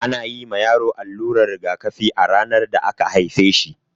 Ana yi ma yaro alluran rigakafi a ranar da aka haife shi.